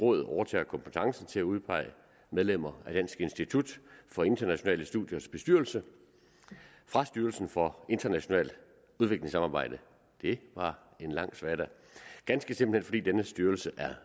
råd overtager kompetencen til at udpege medlemmer af dansk institut for internationale studiers bestyrelse fra styrelsen for internationalt udviklingssamarbejde det var en lang svada ganske simpelt fordi denne styrelse er